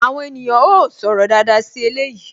Àwọn ènìyàn ó sọ̀rọ̀ dáadáa sí eléyìí